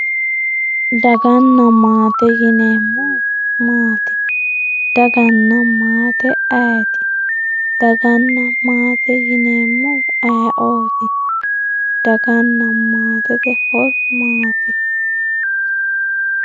daganna maate yineemmohu maati daganna maate ayeti dagana maate yineemohu ayeooti daganna maatete horo maati